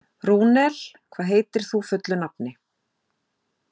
Rúnel, hvað heitir þú fullu nafni?